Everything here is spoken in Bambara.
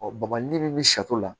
Ɔ bɔnbɔn ni min bɛ sato la